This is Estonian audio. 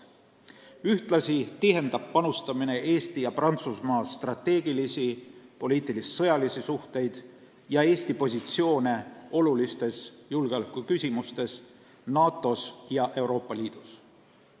Ühtlasi tihendab panustamine Eesti ja Prantsusmaa strateegilisi ja poliitilis-sõjalisi suhteid ning parandab Eesti positsiooni olulistes julgeolekuküsimustes NATO-s ja Euroopa Liidus.